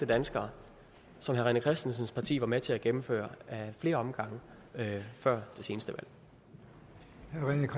danskere som herre rené christensens parti var med til at gennemføre ad flere omgange før det seneste